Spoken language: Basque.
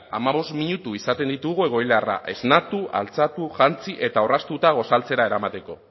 hamabost minutu izaten ditugu egoiliarra esnatu altxatu jantzi eta orraztuta gosaltzera eramateko